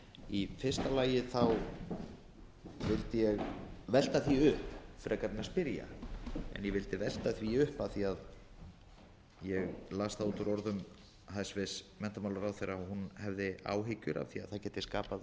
í fyrsta lagi vildi ég velta því upp frekar en að spyrja en ég vildi velta því upp af því ég las það út úr orðum hæstvirts menntamálaráðherra að hún hefði áhyggjur af því það gæti skapað